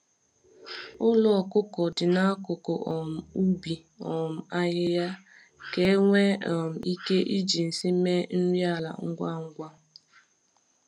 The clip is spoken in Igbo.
Ụlọ ọkụkọ dị n'akụkụ um ubi um ahịhịa ka e nwee um ike iji nsị mee nri ala ngwa ngwa.